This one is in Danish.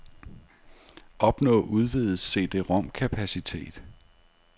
Opnå udvidet cd-rom kapacitet.